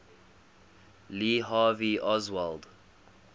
lee harvey oswald